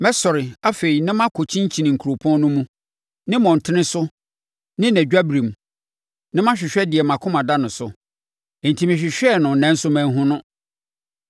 Mɛsɔre afei na makɔ kyinkyini kuropɔn no mu, ne mmɔntene so ne nʼadwabirem; na mahwehwɛ deɛ mʼakoma da no so. Enti mehwehwɛɛ no nanso manhunu no.